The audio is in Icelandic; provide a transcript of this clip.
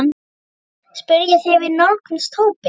spurði ég þegar við nálguðumst hópinn.